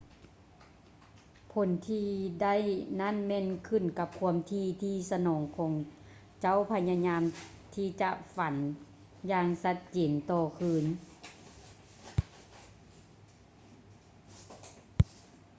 ຜົນທີ່ໄດ້ນັ້ນແມ່ນຂື້ນກັບຄວາມຖີ່ທີ່ສະໝອງຂອງເຈົ້າພະຍາຍາມທີ່ຈະຝັນຢ່າງຊັດເຈນຕໍ່ຄືນ